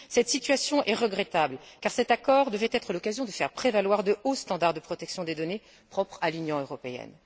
Cette situation est regrettable car cet accord devait être l'occasion de faire prévaloir de hauts standards de protection des données, propres à l'Union européenne.